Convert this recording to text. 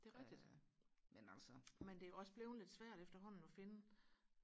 det er rigtigt men det er jo også blevet lidt svært efterhånden og finde